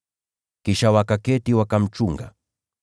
Kisha wakaketi, wakamchunga.